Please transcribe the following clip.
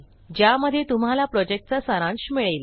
ज्यामध्ये तुम्हाला प्रॉजेक्टचा सारांश मिळेल